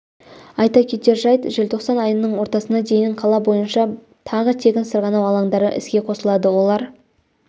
айта кетер жайт желтоқсан айының ортасына дейін қала бойынша тағы тегін сырғанау алаңдары іске қосылады олар